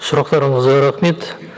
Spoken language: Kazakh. сұрақтарыңызға рахмет